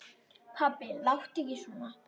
Pabbi láttu ekki svona.